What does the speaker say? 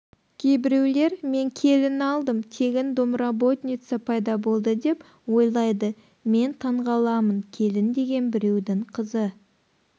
кейбіреулер мен келін алдым тегін домработница пайда болды деп ойлайды мен таңғаламын келін деген біреудің қызы